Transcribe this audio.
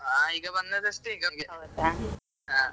ಆ ಈಗ ಬಂದದಷ್ಟೇ ಹಾ.